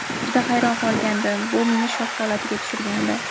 Juda hayron qolgandim, bu meni shok holatiga tushirgandi.